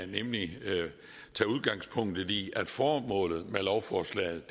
nemlig tage udgangspunkt i at formålet med lovforslaget